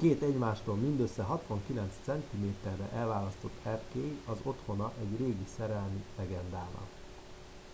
két egymástól mindössze 69 centiméterre elválasztott erkély az otthona egy régi szerelmi legendának